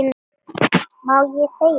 Má ég segja þér.